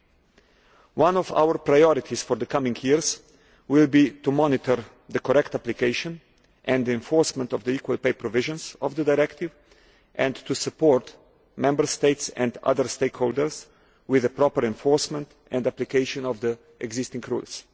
Some of our priorities for the coming years will be to monitor the correct application and enforcement of the equal pay provisions of the directive, and to support Member States and other stakeholders with a proper enforcement and application of the existing rules.